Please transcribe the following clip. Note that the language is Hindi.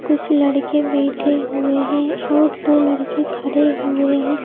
कुछ लड़के बैठे हुए हैं और दो लड़के खड़े हुए हैं।